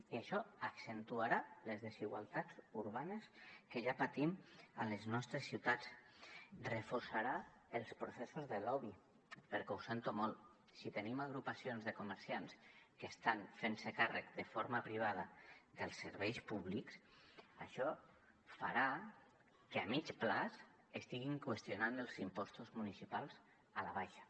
i això accentuarà les desigualtats urbanes que ja patim a les nostres ciutats reforçarà els processos de lobby perquè ho sento molt si tenim agrupacions de comerciants que estan fent se càrrec de forma privada dels serveis públics això farà que a mitjà termini estiguin qüestionant els impostos municipals a la baixa